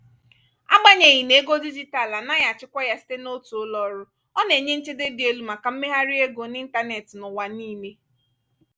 agbanyeghi na ego dijitalụ anaghị achịkwa ya site n'otu ụlọọrụ ọ na-enye nchedo dị elu maka mmegharị ego n'ịntanetị n'ụwa niile.